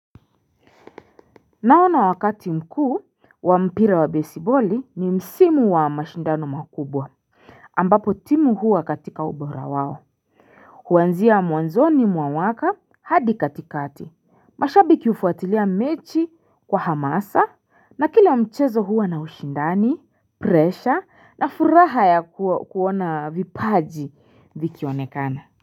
Naona wakati mkuu wa mpira wa besiboli ni msimu wa mashindano makubwa ambapo timu huwa katika ubora wao Huanzia mwanzoni mwa mwaka hadi katikati mashabi hufuatilia mechi kwa hamasa na kila mchezo huwa na ushindani Pressure na furaha ya kuona vipaji vikionekana.